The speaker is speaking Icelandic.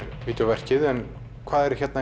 vídeóverkið en hvað er hérna